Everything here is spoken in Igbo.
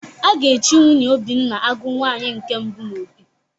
A ga-echi nwunye Obinna Agụ nwaanyi nke mbụ n'Opi